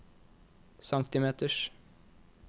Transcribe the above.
centimeters